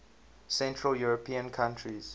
central european countries